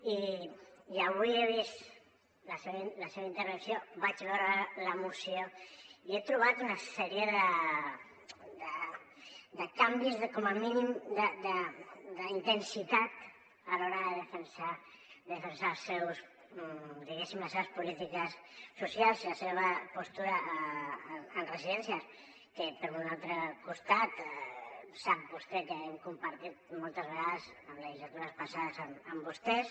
i avui he vist la seva intervenció vaig veure la moció i hi he trobat una sèrie de canvis com a mínim d’intensitat a l’hora de defensar diguéssim les seves polítiques socials i la seva postura en residències que per un altre costat sap vostè que les hem compartit moltes vegades en legislatures passades amb vostès